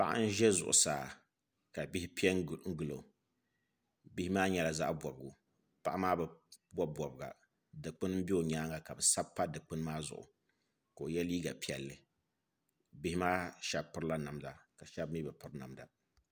Paɣa n ʒɛ zuɣusaa ka bihi piɛ n gilo bihi maa nyɛla zaɣ bobgu paɣa maa bi bob bobga dikpuni n bɛ o nyaanga ka bi sabi pa dikpuni maa zuɣu ka o yɛ liiga piɛlli bihi maa shab pirila namda nima ka shab mii bi piri